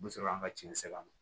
U bɛ sɔrɔ an ka tiɲɛ sɛri a ma